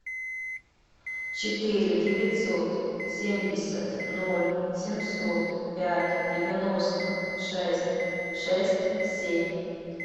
четыре девятьсот семьдесят ноль семьсот пять девяносто шесть шесть семь